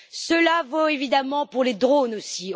Cela vaut évidemment pour les drones aussi.